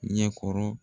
Ɲɛkɔrɔ